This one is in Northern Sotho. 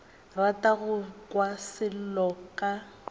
rata go kwa selo ka